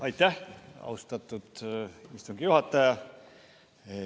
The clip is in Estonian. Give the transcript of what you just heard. Aitäh, austatud istungi juhataja!